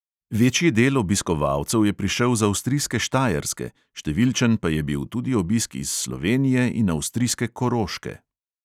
Večji del obiskovalcev je prišel z avstrijske štajerske, številčen pa je bil tudi obisk iz slovenije in avstrijske koroške.